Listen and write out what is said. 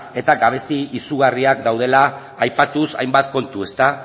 eta gabezia izugarriak daudela aipatuz hainbat kontu